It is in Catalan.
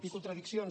i contradiccions